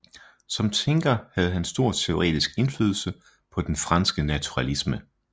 Som tænker havde han stor teoretisk indflydelse på den franske naturalisme